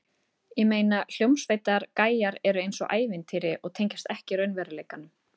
Ég meina, hljómsveitar- gæjar eru eins og ævintýri og tengjast ekki raunveruleikanum.